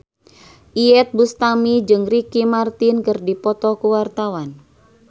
Iyeth Bustami jeung Ricky Martin keur dipoto ku wartawan